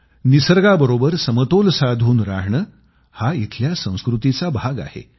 निसर्गाबरोबर समतोल साधून राहणं हा इथल्या संस्कृतीचा भाग आहे